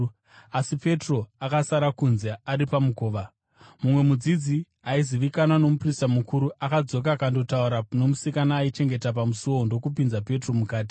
asi Petro akasara kunze ari pamukova. Mumwe mudzidzi, aizivikanwa nomuprista mukuru, akadzoka akandotaura nomusikana aichengeta pamusuo ndokupinza Petro mukati.